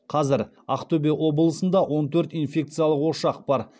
қазір ақтөбе облысында он төрт инфекциялық ошақ бар